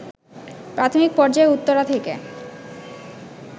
প্রাথমিক পর্যায়ে উত্তরা থেকে